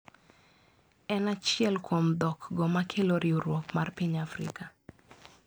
En achiel kuom dhokgo ma kelo riwruok mar piny Afrika.